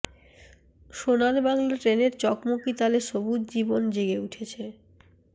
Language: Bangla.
সোনার বাংলা ট্রেনের চকমকি তালে সবুজ জীবন জেগে উঠেছে